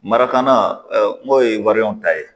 Marakana n'o ye ta ye